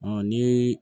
ni